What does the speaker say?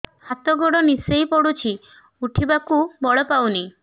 ହାତ ଗୋଡ ନିସେଇ ପଡୁଛି ଉଠିବାକୁ ବଳ ପାଉନି